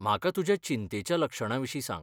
म्हाका तुज्या चिंतेच्या लक्षणांविशीं सांग.